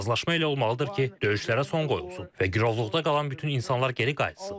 Razılaşma elə olmalıdır ki, döyüşlərə son qoyulsun və girovluqda qalan bütün insanlar geri qayıtsın.